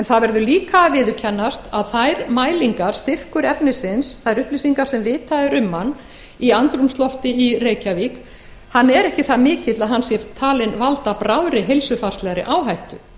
það verður líka að viðurkennast að þær mælingar styrkur efnisins þær upplýsingar sem vitað er um hann í andrúmslofti í reykjavík eru ekki það miklar að hann sé talinn valda bráðri heilsufarslegri áhættu